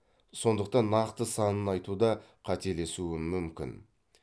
сондықтан нақты санын айтуда қателесуім мүмкін